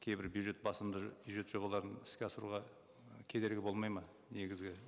кейбір бюджет басымды бюджет жобаларын іске асыруға і кедергі болмайды ма негізгі